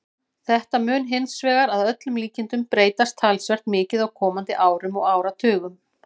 Þetta mun hins vegar að öllum líkindum breytast talsvert mikið á komandi árum og áratugum.